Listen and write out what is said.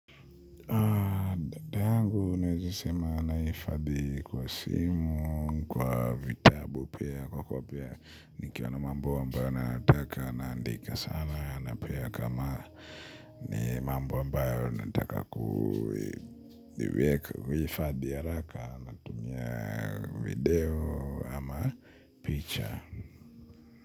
Data yangu naweza sema nahifadhi kwa simu, kwa vitabu pia, kwa kopia, nikiwa n mamb ambayo nayataka, naandika sana, na pia kama ni mambo ambayo nataka kuhifadhi ya haraka, natumia video ama picha.